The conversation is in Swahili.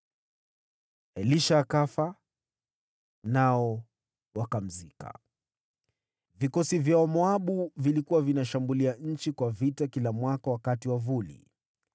Elisha akafa, nao wakamzika. Vikosi vya Wamoabu vilikuwa vinashambulia nchi kwa vita kila mwaka wakati wa vuli.